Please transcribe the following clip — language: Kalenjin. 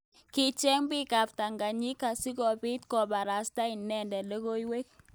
Kicheng bik ab ptanganyinik sikobit kobarasta inendet logoiywek.